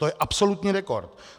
To je absolutní rekord!